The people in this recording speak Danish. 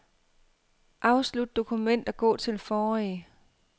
Afslut dokument og gå til forrige.